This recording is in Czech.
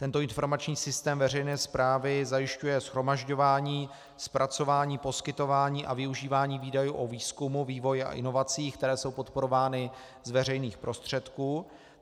Tento informační systém veřejné správy zajišťuje shromažďování, zpracování, poskytování a využívání údajů o výzkumu, vývoji a inovacích, které jsou podporovány z veřejných prostředků.